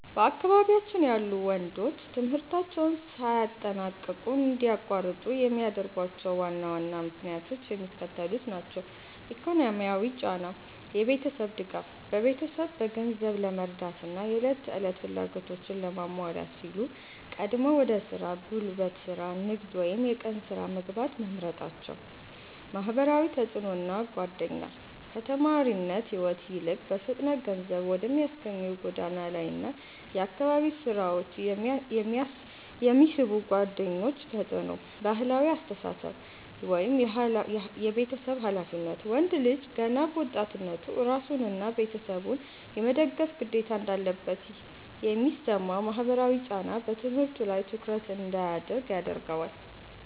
በአካባቢያችን ያሉ ወንዶች ትምህርታቸውን ሳያጠናቅቁ እንዲያቋርጡ የሚያደርጓቸው ዋና ዋና ምክንያቶች የሚከተሉት ናቸው፦ ኢኮኖሚያዊ ጫና (የቤተሰብ ድጋፍ)፦ ቤተሰብን በገንዘብ ለመርዳትና የዕለት ተዕለት ፍላጎቶችን ለማሟላት ሲሉ ቀድመው ወደ ሥራ (ጉልበት ሥራ፣ ንግድ ወይም የቀን ሥራ) መግባት መምረጣቸው። ማህበራዊ ተጽዕኖና ጓደኛ፦ ከተማሪነት ሕይወት ይልቅ በፍጥነት ገንዘብ ወደሚያስገኙ የጎዳና ላይና የአካባቢ ሥራዎች የሚስቡ ጓደኞች ተጽዕኖ። ባህላዊ አስተሳሰብ (የቤተሰብ ኃላፊነት)፦ ወንድ ልጅ ገና በወጣትነቱ ራሱንና ቤተሰቡን የመደገፍ ግዴታ እንዳለበት የሚሰማው ማህበራዊ ጫና በትምህርቱ ላይ ትኩረት እንዳያደርግ ያደርገዋል።